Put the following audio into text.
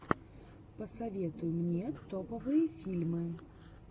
посоветуй мне топовые фильмы